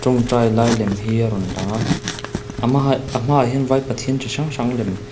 tawngtai lai lem hi a rawn lang a a hma haih a hma ah hian vai pathian chi hrang hrang lem --